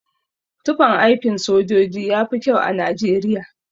Tufan aikin sojoji yafi kyau a Najeriya.